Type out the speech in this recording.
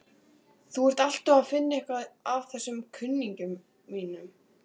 Þú ert alltaf að finna eitthvað að þessum kunningjum mínum.